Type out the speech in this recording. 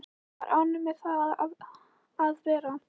Hann er ánægður með það að vera